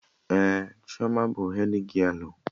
Ee, Chioma bụ hedgialụ